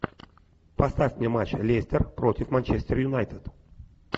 поставь мне матч лестер против манчестер юнайтед